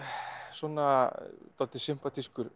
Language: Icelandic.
svona dálítið